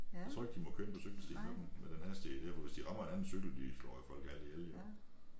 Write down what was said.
Jeg tror ikke de må køre inde på cykelstien med dem med den hastighed her for hvis de rammer en anden cykel de slår jo folk halvt ihjel jo